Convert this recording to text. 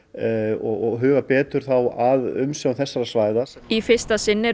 og huga betur að umsjá þessara svæða í fyrsta sinn eru